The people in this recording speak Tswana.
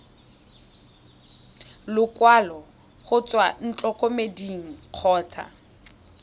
lekwalo go tswa ntlokemeding kgotsa